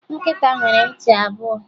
Nkịta nwere ntị abụọ